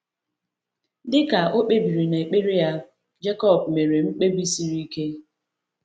Dị ka o kpebiri n’ekpere ya, Jekọb mere mkpebi siri ike.